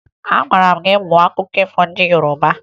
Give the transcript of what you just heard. Agwara m gị mụọ akụkọ ifo ndị Yoroba!